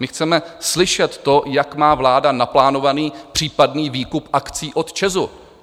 My chceme slyšet to, jak má vláda naplánovaný případný výkup akcí od ČEZu.